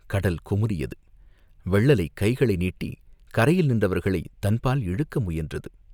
கடல் குமுறியது, வெள்ளலைக் கைகளை நீட்டிக் கரையில் நின்றவர்களைத் தன்பால் இழுக்க முயன்றது.